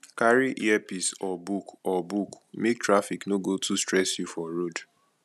carry earpiece or book or book make traffic no go too stress you for road